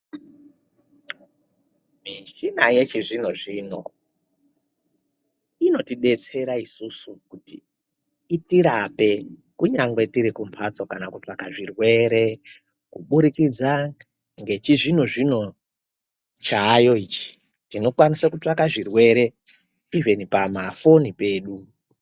Michina yechizvino-zvino, inotidetsera isusu kuti itirape kunyangwe tiri kumbatso kana kutsvaka zvirwere kuburikidza ngechizvini-zvino chaayo ichi, tinokwanisa kutsvaka zvirwere ivhini pamafoni pedu.